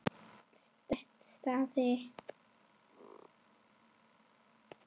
Slétt staðið.